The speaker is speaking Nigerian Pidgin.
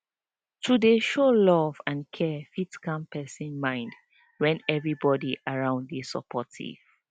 to dey show love and care fit calm person mind when everybody around dey supportive